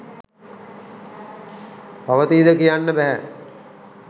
පවතීද කියන්න බැහැ.